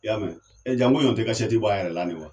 I y'a mɛn Janko ɲɔ tɛ kasɛti bɔ a yɛrɛ la ni wa.